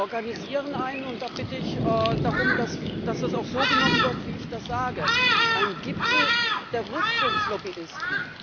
Wir organisieren und da bitte ich darum, dass es auch so genommen wird, wie ich das sage einen Gipfel der Rüstungslobbyisten!